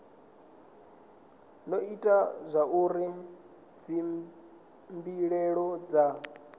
do ita zwauri dzimbilaelo dza